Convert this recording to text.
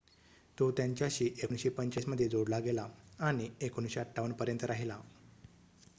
तो त्यांच्याशी 1945 मध्ये जोडला गेला आणि 1958 पर्यंत राहिला